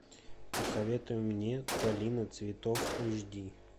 посоветуй мне долина цветов эйч ди